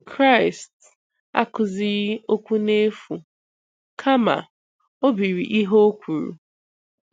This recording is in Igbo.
Kraịst akụzighị okwu n'efu, kama o biri ihe O kwuru